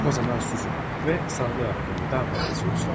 O zaman susun və sağlamlığı haqqında daha çox sual verməyin.